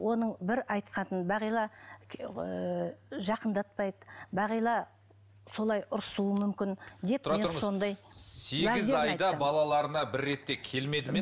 оның бір айтқаны бағила ыыы жақындатпайды бағила солай ұрысуы мүмкін деп балаларына бір рет те келмеді ме